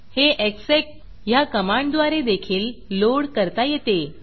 हे execएग्ज़ेक ह्या कमांडद्वारे देखील लोड करता येते